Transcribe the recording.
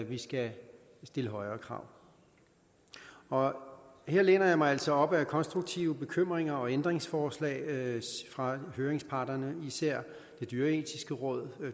vi skal stille højere krav her læner jeg mig altså op ad konstruktive bekymringer og ændringsforslag fra høringsparterne især det dyreetiske råd